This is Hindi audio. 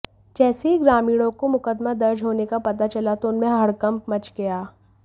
जैसे ही ग्रामीणों को मुकदमा दर्ज होने का पता चला तो उनमें हड़कंप मच गया